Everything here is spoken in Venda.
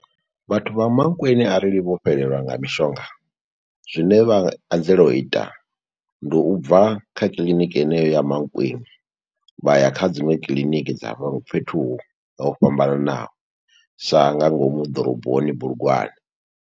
Vhathu vha Mankweng, arali vho fhelelwa nga mishonga. zwine vha anzela u ita, ndi u bva kha kiḽiniki yeneyo ya Mankweng, vha ya kha dziṅwe kiḽiniki dza fhethu ho fhambananaho, sa nga ngomu ḓoroboni Bulugwane.